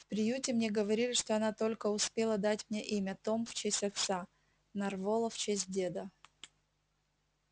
в приюте мне говорили что она только успела дать мне имя том в честь отца нарволо в честь деда